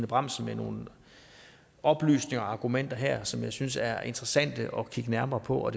bramsen med nogle oplysninger og argumenter her som jeg synes er interessante at kigge nærmere på og